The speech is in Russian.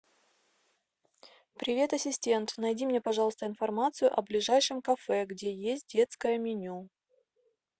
привет ассистент найди мне пожалуйста информацию о ближайшем кафе где есть детское меню